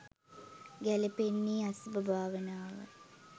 ගැළපෙන්නේ අසුභ භාවනාවයි.